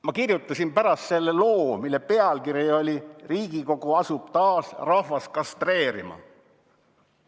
Ma kirjutasin pärast sellest loo, mille pealkiri oli "Riigikogu asub taas rahvast kastreerima".